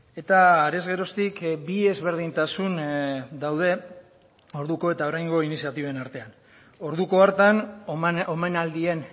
eta arez geroztik bi ezberdintasun daude orduko eta oraingo iniziatiben artean orduko hartan omenaldien